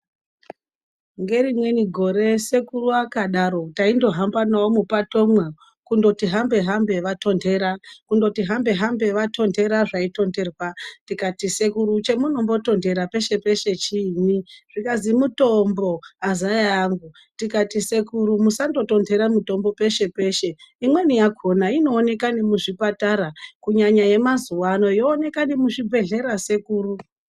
Ngerimweni gore sekuru akadaro, taitohamba nawo muupatomwo, kundoti hambe hambe vatontera. Kundoti hambe hambe vatontera zvaitonterwa , tikati sekuru chamunombotontera peshe peshe chiinyi zvikanzi mutombo azaya angu tikati sekuru musangotonhera mutombo peshe peshe. Imweni yakona inooneka nemuzvipatara kunyanya yemazuwa ano yooneka nemuzvibhedhlera sekuru.